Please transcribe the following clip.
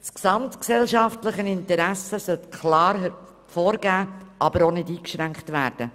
Das gesamtgesellschaftliche Interesse soll klar aus der Formulierung hervorgehen, aber nicht eingeschränkt werden.